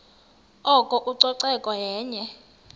oko ucoceko yenye